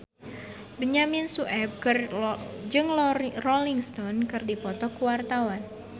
Benyamin Sueb jeung Rolling Stone keur dipoto ku wartawan